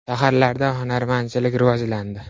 Shaharlarda hunarmandchilik rivojlandi.